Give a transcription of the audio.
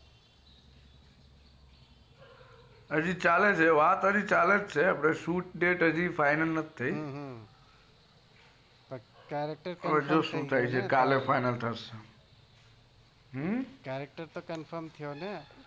હજી ચાલે છે વાત હાજી ચાલે છે shoot date fix નથી હવે જોઈએ શું થાય છે confirm છે કાલે ખબર પડશે